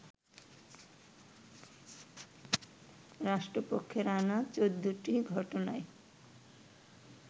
রাষ্ট্রপক্ষের আনা ১৪টি ঘটনায়